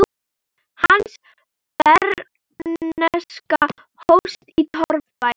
Hans bernska hófst í torfbæ.